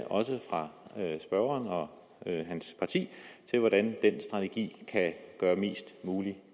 også fra spørgeren og hans parti til hvordan den strategi kan gøre mest mulig